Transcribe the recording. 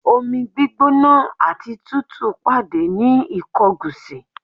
Omi gbígbóná àti tútù pàdé ní Ìkọgòsì.